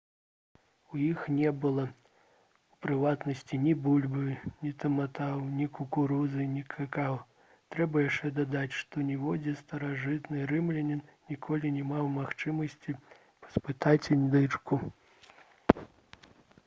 у іх не было у прыватнасці ні бульбы ні таматаў ні кукурузы ні какава трэба яшчэ дадаць што ніводзін старажытны рымлянін ніколі не меў магчымасці паспытаць індычку